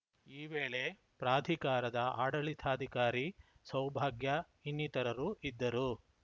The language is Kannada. ಈ ವೇಳೆ ಪ್ರಾಧಿಕಾರದ ಆಡಳಿತಾಧಿಕಾರಿ ಸೌಭಾಗ್ಯ ಇನ್ನಿತರರು ಇದ್ದರು